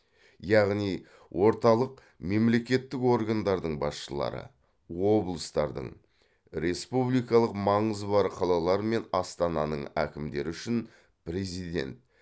яғни орталық мемлекеттік органдардың басшылары облыстардың республикалық маңызы бар қалалар мен астананың әкімдері үшін президент